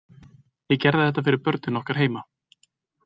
Ég gerði þetta fyrir börnin okkar heima.